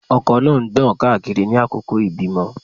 Ọkọ náà ń gbọ̀n káàkiri ní àkókò ìbímọ.